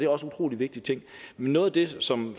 også utrolig vigtige ting men noget af det som